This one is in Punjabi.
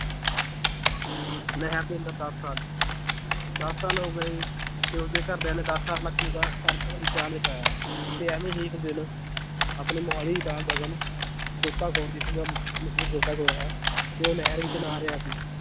ਨਹਿਰ ਦੇ ਅੰਦਰ ਦਸ ਸਾਲ ਦਸ ਸਾਲ ਹੋ ਗਏ ਤੇ ਓਹਦੇ ਘਰਦਿਆਂ ਨੇ ਦਸ ਸਾਲ ਤੱਕ ਹੀ ਓਹਦਾ ਕਰ~ ਅਹ recharge ਕਰਾਇਆ ਤੇ ਐਵੀਂ ਹੀ ਇੱਕ ਦਿਨ ਆਪਣੇ ਮੋਹਾਲੀ ਦਾ ਗਗਨ ਗੋਤਾਖ਼ੋਰ ਜਿਸ ਦਾ ਮਸ਼ਹੂਰ ਗੋਤਾਖ਼ੋਰ ਹੈ ਤੇ ਉਹ ਨਹਿਰ ਵਿਚ ਨਹਾ ਰਿਹਾ ਸੀ